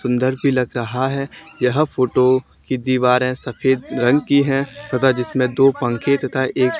सुंदर भी लग रहा यह फोटो की दीवारे सफेद रंग की है तथा जिसमें दो पंखे तथा एक--